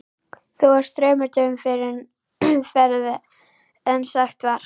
Þú ert þremur dögum fyrr á ferð en sagt var.